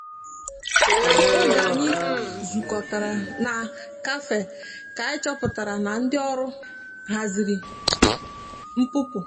oge anyi zu kọtara na kafe ka anyi chọpụtara na ndi ọrụ hazịrị npụpụ.